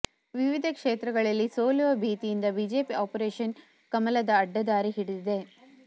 ವಿವಿಧ ಕ್ಷೇತ್ರಗಳಲ್ಲಿ ಸೋಲುವ ಭೀತಿಯಿಂದ ಬಿಜೆಪಿ ಆಪರೇಷನ್ ಕಮಲದ ಅಡ್ಡದಾರಿ ಹಿಡಿದಿದೆ